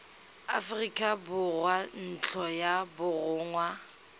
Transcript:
aforika borwa ntlo ya borongwa